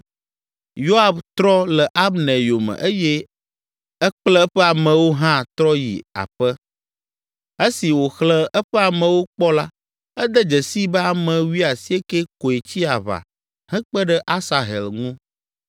Yoab trɔ le Abner yome eye ekple eƒe amewo hã trɔ yi aƒe. Esi wòxlẽ eƒe amewo kpɔ la, ede dzesii be ame wuiasiekɛ koe tsi aʋa hekpe ɖe Asahel ŋu.